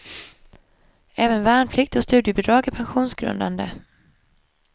Även värnplikt och studiebidrag är pensionsgrundande.